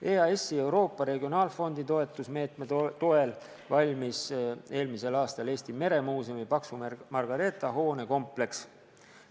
EAS-i Euroopa Regionaalfondi toetusmeetme toel valmis 2019. aastal Eesti Meremuuseumi Paksu Margareeta hoonekompleks.